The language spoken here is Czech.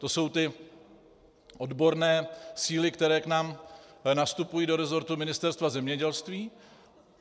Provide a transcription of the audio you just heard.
To jsou ty odborné síly, které k nám nastupují do rezortu Ministerstva zemědělství.